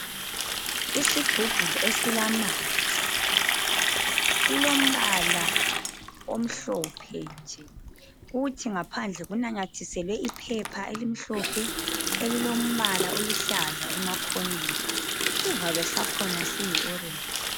Isigubhu esilamanzi . Silombala omhlophe nje . Kuthi ngaphandle kunamathiselwe iphepha elimhlophe elilombala oluhlaza emakhoneni. Isivalo sakhona siyi (orange).